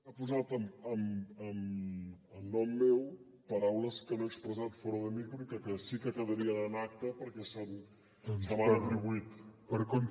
ha posat en nom meu paraules que no he expressat fora de micro i que sí que quedarien en acta perquè se m’han atribuït